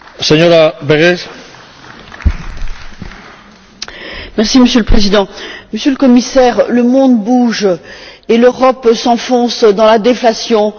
Monsieur le Président, Monsieur le Commissaire, le monde bouge et l'Europe s'enfonce dans la déflation, dans l'absence de croissance, et vous, vous ne bougez pas!